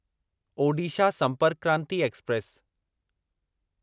Odisha Sampark Kranti express